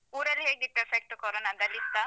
ಊರಲ್ಲಿ ಹೇಗಿತ್ತು effect ಕೊರೊನದ್ದು ಅಲ್ಲಿ ಇತ್ತಾ?